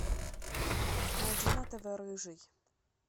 найди на тв рыжий